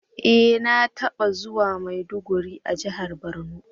E! Na taba zuwa maiduguri a jihar borno.